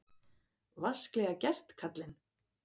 Vasklega gert, karlinn!